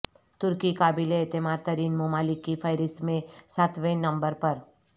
ترکی قابل اعتماد ترین ممالک کی فہرست میں ساتویں نمبر پر